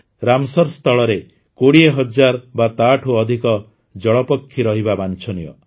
Ramsar ସ୍ଥଳରେ ୨୦୦୦୦ ବା ତାଠୁ ଅଧିକ ଜଳପକ୍ଷୀ ରହିବା ବାଂଛନୀୟ